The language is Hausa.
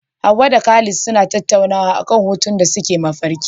Hawwa da Khalid suna tattaunawa akan hutun da suke mafarki.